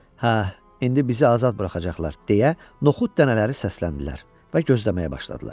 Hə, indi bizi azad buraxacaqlar, deyə noxud dənələri səsləndilər və gözləməyə başladılar.